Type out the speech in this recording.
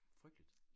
Frygteligt